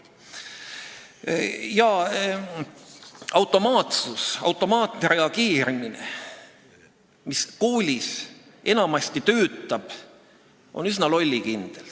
Niisugune automaatsus, automaatne reageerimine, mis koolis enamasti töötab, on üsna lollikindel.